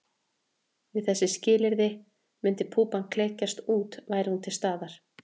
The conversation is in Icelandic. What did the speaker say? Við þessi skilyrði myndi púpan klekjast út væri hún til staðar.